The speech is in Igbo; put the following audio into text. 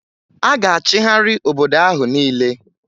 A ga-achịgharị obodo ahụ niile